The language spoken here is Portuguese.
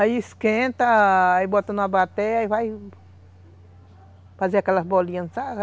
Aí esquenta, aí bota numa batéia, aí vai fazer aquelas bolinhas.